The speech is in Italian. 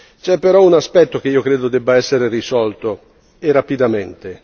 C'è però un aspetto che credo debba essere risolto, e rapidamente.